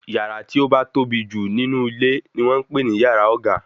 Yàrá tí ó ba tóbi jù nínú ilé ni wọ́n ń pè ní yàrá ọ̀gá